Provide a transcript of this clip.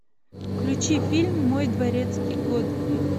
включи фильм мой дворецкий годфри